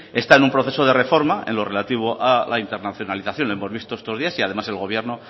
está en un proceso de reforma en lo relativo a la internacionalización hemos visto estos días y además el gobierno